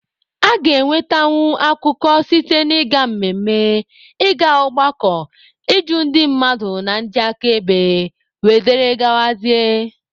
A ga-enwetanwu akụkọ site na ịga mmemme, ị ga ọgbakọ, ịjụ ndị mmadụ na ndị aka ebe wdg.